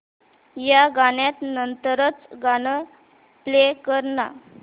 या गाण्या नंतरचं गाणं प्ले कर ना